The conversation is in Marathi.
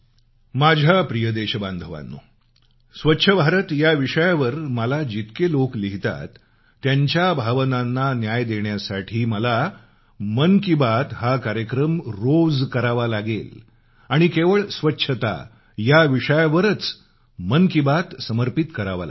माझ्या प्रिय देशबांधवानो स्वच्छ भारत या विषयावर मला जितके लोक लिहितात त्यांच्या भावनांना न्याय देण्यासाठी मला मन की बात हा कार्यक्रम रोज करावा लागेल आणि केवळ स्वच्छता या विषयावरच मन की बात समर्पित करावा लागेल